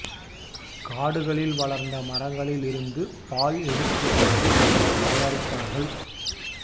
காடுகளில் வளர்ந்த மரங்களில் இருந்து பால் எடுத்து வந்து தயாரித்தார்கள்